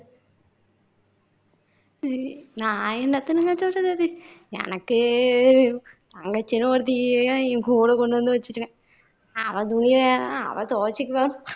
சரி நான் என்னாத்தனுங்க பேசுறது எனக்கு என் தங்கச்சின்னு ஒருத்திய என் கூட கொண்டு வந்து வச்சுருக்கேன் அவ துணியெல்லாம் அவ துவச்சுக்குவா.